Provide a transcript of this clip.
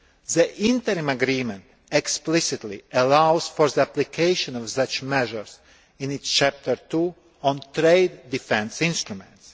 The Interim Agreement explicitly allows for the application of such measures in its Chapter 2 on trade defence instruments.